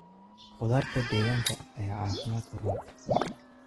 Khudaarta deegaanka ayaa caafimaadka u roon.